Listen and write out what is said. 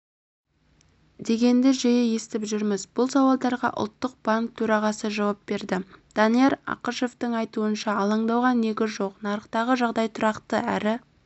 дегенді жиі естіп жүрміз бұл сауалдарға ұлттық банк төрағасы жауап берді данияр ақышевтің айтуынша алаңдауға негіз жоқ нарықтағы жағдай тұрақты әрі